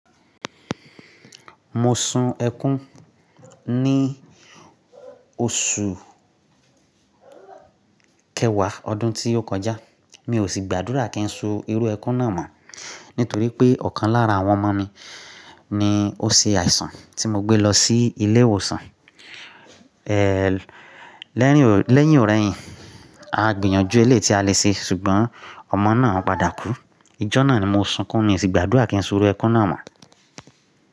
Mo sun ẹkún ní oṣù kẹwàá ọdún tí ó kọjá. Mi ò sì gbàdúrà kí n so irú ẹkún náà mọ̀ nítorí pé ọ̀kan lára àwọn ọmọ mi ni ó ṣe àìsàn tí mo gbé lọ sí ilé ìwòsàn. Eeẹ́ lẹ́yìn òrẹ́yìn, a gbìyànjú elé tí a lè ṣe ṣùgbọ́n ọmọ náà padà kú. Ijọ́ náà ni mo sunkún, mi ò sì gbàdúrà kí n so irú ẹkún náà mọ̀